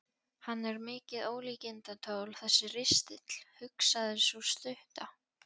Hann er mikið ólíkindatól þessi ristill, hugsaði sú stutta.